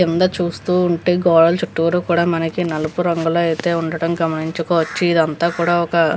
కింద చూస్తూ ఉంటే గోడలు చుట్టూరా కూడా మనకి నలుపు రంగులో అయితే ఉండటము గమనించుకోవచ్చు అయితే ఇది అంతా కూడా ఒక --